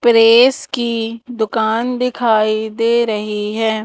Press की दुकान दिखाई दे रही है।